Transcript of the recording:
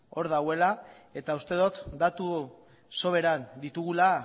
hor daudela eta uste dut datuak sobera ditugula